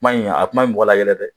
Kuma in a kuma in bɛ mɔgɔ layɛlɛ dɛ